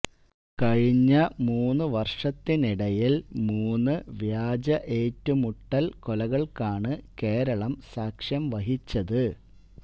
കഴിഞ്ഞ മൂന്നു വര്ഷത്തിനിടില് മൂന്ന് വ്യാജ ഏറ്റുമുട്ടല് കൊലകള്ക്കാണ് കേരളം സാക്ഷ്യം വഹിച്ചത്